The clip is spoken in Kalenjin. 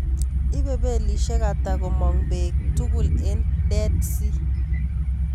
Ibe belishek ata komang bek tugul en dead sea